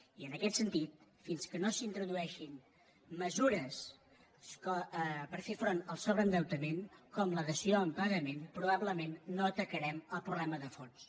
i en aquest sentit fins que no s’introdueixin mesures per fer front al sobreendeutament com la dació en pagament probablement no atacarem el problema de fons